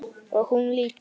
Og hún líka.